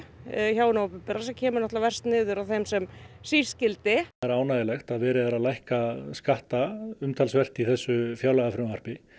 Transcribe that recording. hjá hinu opinbera sem kemur náttúrulega verst niður á þeim sem síst skyldi það er ánægjulegt að verið er að lækka skatta umtalsvert í þessu fjárlagafrumvarpi